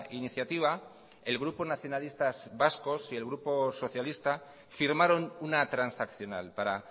iniciativa el grupo nacionalistas vascos y el grupo socialista firmaron una transaccional para